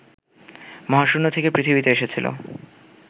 মহাশূন্য থেকে পৃথিবীতে এসেছিল